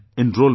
Enrolment